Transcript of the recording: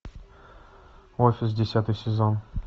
офис десятый сезон